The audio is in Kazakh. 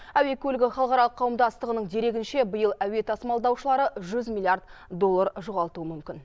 әуе көлігі халықаралық қауымдастығының дерегінше биыл әуе тасымалдаушылары жүз миллиард доллар жоғалтуы мүмкін